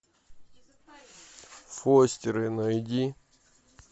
фостеры найди